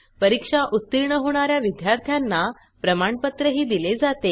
परीक्षा उत्तीर्ण होणा या विद्यार्थ्यांना प्रमाणपत्रही दिले जाते